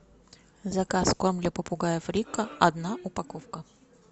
заказ корм для попугаев рико одна упаковка